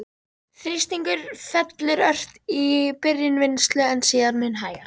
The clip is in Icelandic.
Þrýstingur fellur ört í byrjun vinnslu, en síðan mun hægar.